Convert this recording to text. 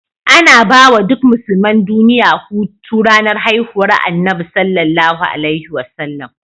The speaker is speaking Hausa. Anabawa duk musulman duliya Hutu ranar hihuwar annabi SAW